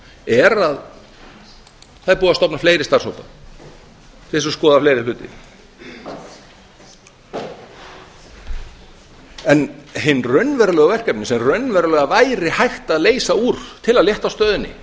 er að það er búið að stofna fleiri starfshópa til þess að skoða fleiri hluti en hin raunverulegu verkefni sem raunverulega væri hægt að leysa úr til að létta á stöðunni